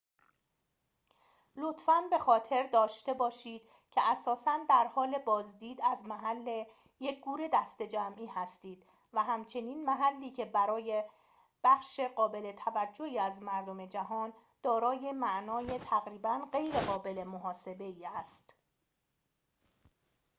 لطفاً به خاطر داشته باشید که اساساً در حال بازدید از محل یک گور دسته‌جمعی هستید و همچنین محلی که برای بخش قابل توجهی از مردم جهان دارای معنای تقریباً غیرقابل محاسبه ای است